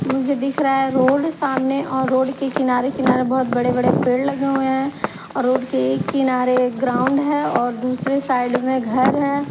मुझे दिख रहा है रोड सामने और रोड के किनारे-किनारेबहुत बड़े-बड़े पेड़ लगे हुए हैं और रोड के एक किनारे ग्राउंड है और दूसरे साइड में घर है।